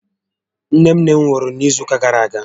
Nné nné m nwụrụ n'izu ụka gàrà aga